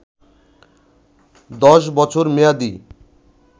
১০ বছর মেয়াদি